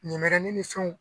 Ɲɛmɛrɛni ni fɛnw